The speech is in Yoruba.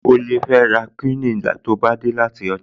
O lè fẹ́ ra kúíìnì tó bá dé láti ọjà